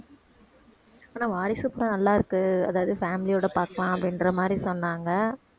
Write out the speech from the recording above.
ஆனா வாரிசு படம் நல்லாருக்கு அதாவது family யோட பார்க்கலாம் அப்படின்ற மாதிரி சொன்னாங்க